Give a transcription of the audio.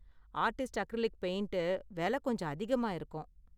Artist acrylic paint விலை கொஞ்சம் அதிகமா இருக்கும்.